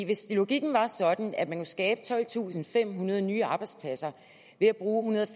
hvis logikken var sådan at man kunne skabe tolvtusinde og femhundrede nye arbejdspladser ved at bruge